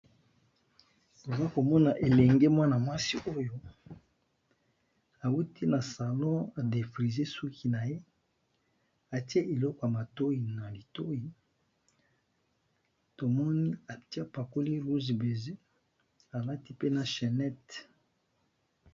Toza komona elenge mwana mwasi oyo auti na salon a defrise suki na ye atie eloko ya matoi na litoi tomoni atie apacoli rouge beze alati pe na chennete.